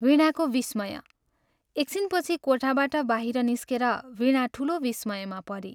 वीणाको विस्मय एक छिनपछि कोठाबाट बाहिर निस्केर वीणा ठूलो विस्मयमा परी।